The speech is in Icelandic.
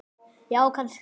Já, kannski